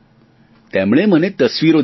તેમણે મને તસવીરો દેખાડી